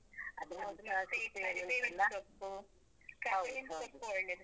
ಕರಿಬೇವಿನ್ ಸೊಪ್ಪು, ಕರಿಬೇವಿನ್ ಸೊಪ್ಪು ಒಳ್ಳೇದು.